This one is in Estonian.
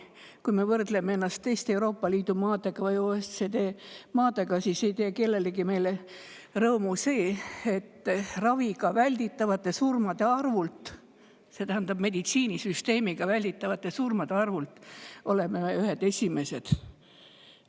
Kui me võrdleme ennast teiste Euroopa Liidu maade või OECD maadega, siis ei tee meist kellelegi rõõmu see, et raviga välditavate surmade arvult, see tähendab meditsiinisüsteemiga välditavate surmade arvu poolest oleme me ühed esimesed.